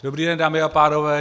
Dobrý den, dámy a pánové.